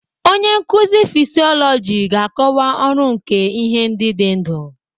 Onye nkuzi fịsiolojị ga-akọwa ọrụ nke ihe ndị dị ndụ.